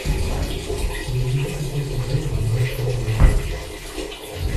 переведи пятьсот рублей на мой сотовый номер